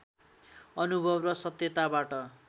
अनुभव र सत्यताबाट